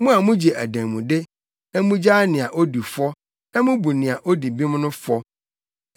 Mo a mugye adanmude, na mugyaa nea odi fɔ na mubu nea odi bem no fɔ.